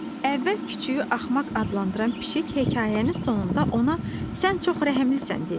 Əvvəl küçüyü axmaq adlandıran pişik hekayənin sonunda ona sən çox rəhimlisən dedi.